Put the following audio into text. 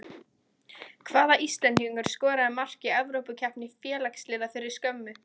Hvaða Íslendingur skoraði mark í evrópukeppni félagsliða fyrir skömmu?